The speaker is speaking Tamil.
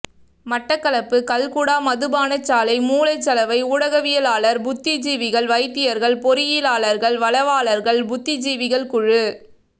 மட்டக்களப்பு கல்குடா மதுபானசாலை மூளை சலவை ஊடகவியலாளர் புத்திஜீவிகள் வைத்தியர்கள் பொறியியலாளர்கள் வளவாளர்கள் புத்திஜீவிகள் குழு